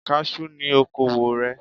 Kaṣú ni okowò rẹ̀.